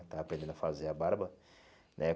Estava aprendendo a fazer a barba, né?